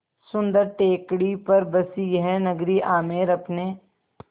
सुन्दर टेकड़ी पर बसी यह नगरी आमेर अपने